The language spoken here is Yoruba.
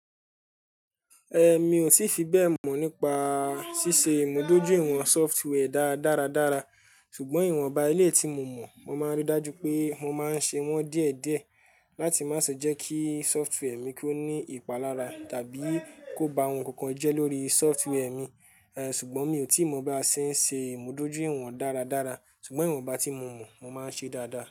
Eh mi ò tí fi bẹ́ẹ̀ mọ̀ nípa ṣíṣe ìmúdójúìwọ̀n software dáa dáradára, ṣùgbọ́n ìwọ̀nba ilé tí mo mọ̀, mo máa ń rí i dájú pé mo máa ń ṣe wọ́n diẹ̀diẹ̀ láti má se jẹ́ kí software mi kó ní ìpalára tàbí kó ba ohun kankan jẹ́ lórí software mi. Eh ṣùgbọ́n mi ò tíì mọ bí a ṣe ń ṣe ìmúdójúìwọ̀n dáradára, ṣùgbọ́n ìwọ̀nba tí mo mọ̀, mo máa ń ṣe dáadáa.